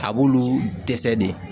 A b'olu dɛsɛ de